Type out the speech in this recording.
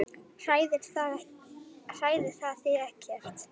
Hræðir það þig ekkert?